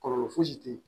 Kɔlɔlɔ fosi te yen